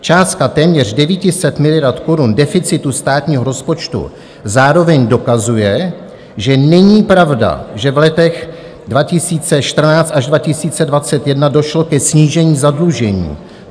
Částka téměř 900 miliard korun deficitu státního rozpočtu zároveň dokazuje, že není pravda, že v letech 2014 až 2021 došlo ke snížení zadlužení.